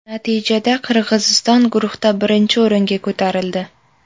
Natijada Qirg‘iziston guruhda birinchi o‘ringa ko‘tarildi.